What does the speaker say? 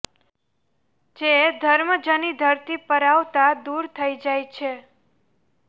જે ધર્મજની ધરતી પર આવતાં દૂર થઇ જાય છે